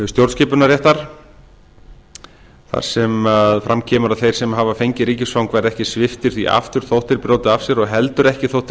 stjórnskipunarréttar þar sem fram kemur að þeir sem hafa fengið ríkisfang verði ekki sviptir því aftur þótt þeir brjóti af sér og heldur ekki þótt þeir